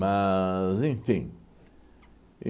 enfim.